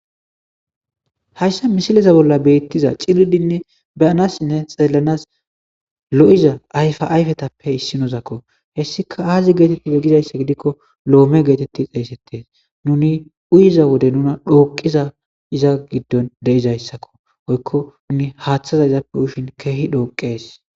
hayssa misileza bolla beettiza ciridinne beyanassinne xeelanas lo7iza ayfa ayfetappe issinozakko hessika aazi geetetti ge gizayssa gidikko loome geetetti xeesettes nuni uyiza wode nuna dhooqiza iza giddon deizayssakko oykko nuni haaththaza izappe ushin keehi dhooqees